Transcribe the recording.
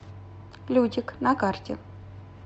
лютик на карте